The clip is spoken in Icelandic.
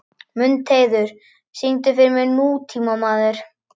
Mundheiður, syngdu fyrir mig „Nútímamaður“.